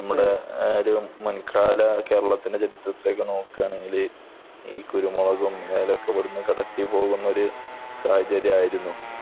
നമ്മുടെ കേരളത്തിന്റെ മുൻകാല ചരിതം എടുത്തു നോക്കിക്കഴിഞ്ഞാൽ കുരുമുളക്, ഏലം ഒക്കെ ഇവിടുന്നു കടത്തി കൊണ്ടുപോകുന്ന ഒരു സാഹചര്യമായിരുന്നു